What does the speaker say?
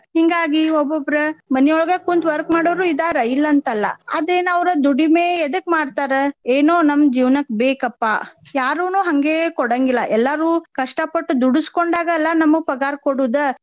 ಹಿಂಗಾಗಿ ಒಬ್ಬೊಬ್ರ ಮನಿಯೊಳಗ ಕುಂತ್ work ಮಾಡೊವ್ರು ಇದಾರ ಇಲ್ಲ ಅಂತಲ್ಲಾ. ಆದ್ರ ಏನ್ ಅವ್ರ ದುಡಿಮೆ ಎದಕ್ ಮಾಡ್ತಾರ ಏನೊ ನಮ್ ಜೀವನಕ್ ಬೇಕಪ್ಪಾ. ಯಾರುನು ಹಂಗೆ ಕೊಡೊಂಗಿಲ್ಲಾ ಎಲ್ಲರು ಕಷ್ಟ ಪಟ್ ದುಡಸ್ಕೊಂಡಾಗ ಅಲಾ ನಮಗ ಪಗಾರ ಕೊಡುದ.